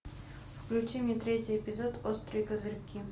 включи мне третий эпизод острые козырьки